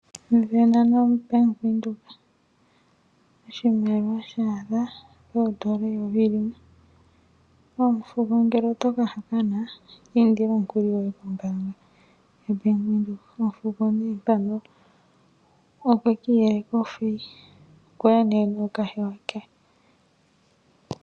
Sindana noBank Windhoek oshimaliwa sha adha poodola eyovi limwe. Omufuko ngele oto ka hokana ki indile omukuli goye kombaanga yoBank Windhoek. Omufuko nee mpano okwe ki iyeleka ofeyi. Okwa ya nee nookahewa ke.